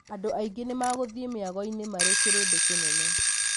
Andũ angĩ nĩmagũthiĩ mĩagoinĩ marĩ kĩrĩndĩ kĩnene.